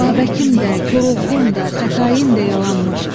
Babəkim də, Koroğlum da, Xətaim də yalanmış.